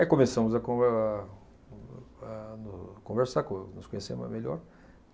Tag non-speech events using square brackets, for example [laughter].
Aí começamos a conver a ah [unintelligible] conversar, co nos conhecermos melhor.